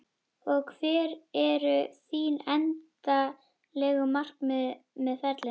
Og hver eru þín endanlegu markmið með ferlinum?